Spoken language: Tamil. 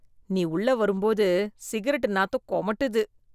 நீ உள்ள வரும்போது சிகரெட் நாத்தம் கொமட்டுது